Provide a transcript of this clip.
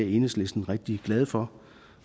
i enhedslisten rigtig glade for